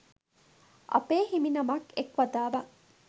අපේ හිමිනමක් එක් වතාවක්